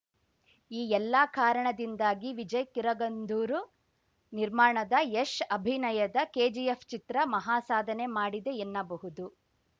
ಈ ಎಲ್ಲಾ ಕಾರಣದಿಂದಾಗಿ ವಿಜಯ್‌ ಕಿರಗಂದೂರು ನಿರ್ಮಾಣದ ಯಶ್‌ ಅಭಿನಯದ ಕೆಜಿಎಫ್‌ ಚಿತ್ರ ಮಹಾಸಾಧನೆ ಮಾಡಿದೆ ಎನ್ನಬಹುದು